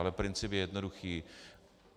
Ale princip je jednoduchý.